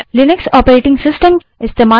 मैं Linux operating system इस्तेमाल कर रही हूँ